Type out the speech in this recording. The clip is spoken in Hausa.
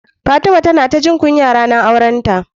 Fatima ta na ta jin kunya ranar aurenta.